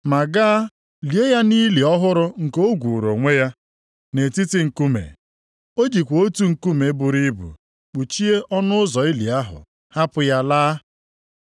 ma gaa lie ya nʼili ọhụrụ nke o gwuuru onwe ya, nʼetiti nkume. O jikwa otu nkume buru ibu kpuchie ọnụ ụzọ ili ahụ, hapụ ya laa.